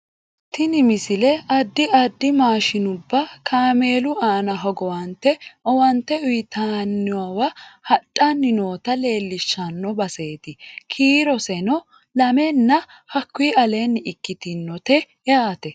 tini misile addi addi maashinubba kameelu aana hogowante owaante uyiitannowa hadhanni noota leellishshanno baseeti kiiroseno lamenna hakkuyi aleenni iikkitinote yaate